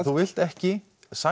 þú vilt ekki